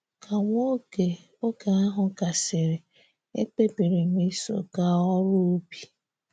Ka nwa oge oge ahụ gasịrị, ekpebiri m iso gaa oru ubi.